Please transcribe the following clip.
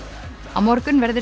á morgun verður